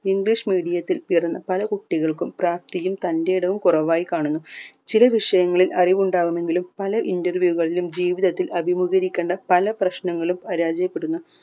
english medium ത്തിൽ പിറന്ന പല കുട്ടികൾക്കും പ്രാപ്‌തിയും തന്റേടവും കുറവായി കാണുന്നു ചില വിഷയങ്ങളിൽ അറിവ് ഉണ്ടാവുമെങ്കിലും പല interview കളിലും ജീവിതത്തിൽ അഭിമുകീകരിക്കേണ്ട പല പ്രശ്‌നങ്ങളും പരാജയപ്പെടുന്ന